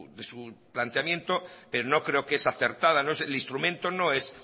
de su planteamiento pero no creo que es acertada el instrumento no es